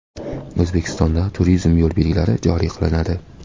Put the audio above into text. O‘zbekistonda turizm yo‘l belgilari joriy qilinadi.